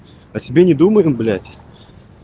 а себе не думали блять